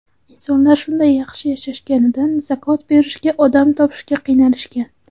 Insonlar shunday yaxshi yashashganidan, zakot berishga odam topishga qiynalishgan.